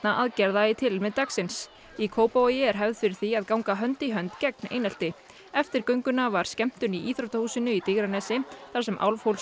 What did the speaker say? aðgerða í tilefni dagsins í Kópavogi er hefð fyrir því að ganga hönd í hönd gegn einelti eftir gönguna var skemmtun í íþróttahúsinu í Digranesi þar sem